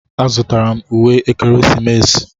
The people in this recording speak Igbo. Azụtara m uwe ekeresimesi.